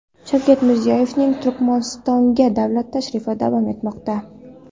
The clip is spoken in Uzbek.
Shavkat Mirziyoyevning Turkmanistonga davlat tashrifi davom etmoqda.